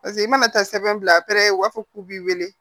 Paseke i mana taa sɛbɛn bila u b'a fɔ k'u b'i weele